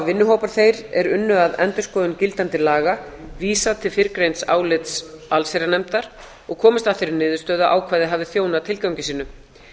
vinnuhópar þeir er unnu að endurskoðun gildandi laga vísað til fyrrgreinds álits allsherjarnefndar og komist að þeirri niðurstöðu að ákvæðið hafi þjónað tilgangi sínum